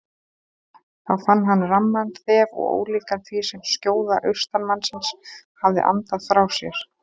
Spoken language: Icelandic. Þá fann hann ramman þef og ólíkan því sem skjóða austanmannsins hafði andað frá sér.